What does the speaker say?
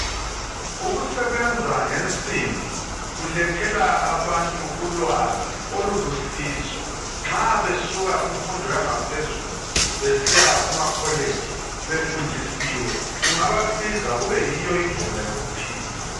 Ukusebenza ngensimbi kulethela abantu ulwazi olulusizo nxa besuka kumfundo yangaphezulu besiya kuma college befundisiwe kungabasiza kube yiyo indlela yokuphila.